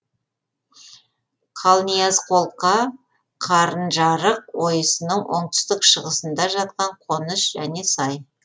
қалниязқолқа қарынжарық ойысының оңтүстік шығысында жатқан қоныс және сай